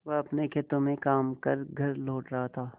वह अपने खेतों में काम कर घर लौट रहा था